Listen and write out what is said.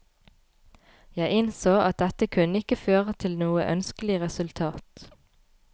Jeg innså at dette kunne ikke føre til noe ønskelig resultat.